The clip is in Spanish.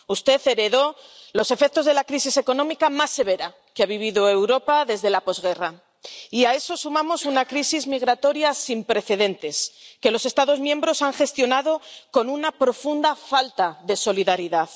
Usted heredó los efectos de la crisis económica más severa que ha vivido Europa desde la posguerra, y a eso sumamos una crisis migratoria sin precedentes, que los Estados miembros han gestionado con una profunda falta de solidaridad.